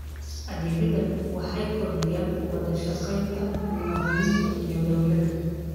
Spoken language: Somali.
Adeegyadani waxay kordhiyaan wada shaqaynta muwaadiniinta iyo dawladda.